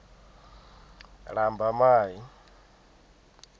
lambamai